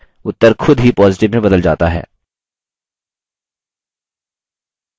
उत्तर खुद ही positive में बदल जाता है